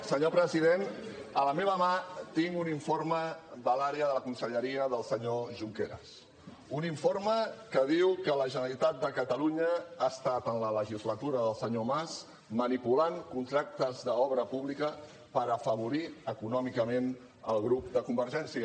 senyor president a la meva mà tinc un informe de la conselleria del senyor junqueras un informe que diu que la generalitat de catalunya ha estat en la legislatura del senyor mas manipulant contractes d’obra pública per afavorir econòmicament el grup de convergència